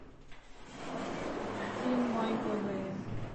фильм майкла бэя